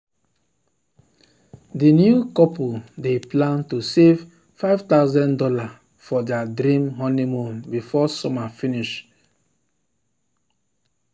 the new couple dey plan to save five thousand dollars for their dream honeymoon before summer finish. summer finish.